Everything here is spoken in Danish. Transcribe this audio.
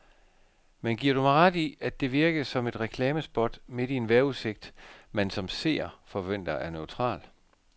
Men giver du mig ret i, at det virkede som et reklamespot midt i en vejrudsigt, man som seer forventer er neutral.